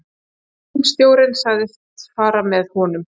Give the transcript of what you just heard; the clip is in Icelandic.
Símstjórinn sagðist fara með honum.